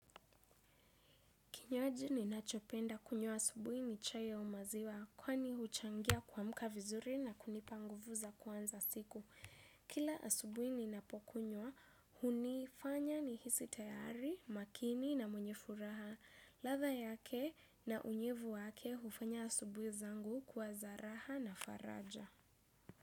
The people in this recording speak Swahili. Kinywaji ninachopenda kunywa asubuhi ni chai au maziwa kwani huchangia kuamka vizuri na kunipa nguvu za kuanza siku. Kila asubuhi ninapokunywa, hunifanya nihisi tayari, makini na mwenye furaha. Ladha yake na unyevu wake, hufanya asubuhi zangu kuwa za raha na faraja.